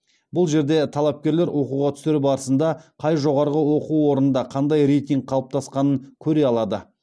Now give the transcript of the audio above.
бұл жерде талапкерлер оқуға түсер барысында қай жоғарғы оқу орнында қандай рейтинг қалыптасқанын көре алады